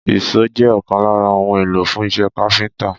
Ìṣó jẹ́ ọ̀kan lára ohun èlò fún iṣẹ́ káfíńtà